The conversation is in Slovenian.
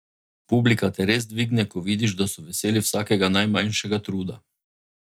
Publika te res dvigne, ko vidiš, da so veseli vsakega najmanjšega truda.